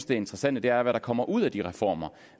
det interessante er hvad der kommer ud af de reformer